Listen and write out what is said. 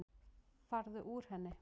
Farðu úr henni.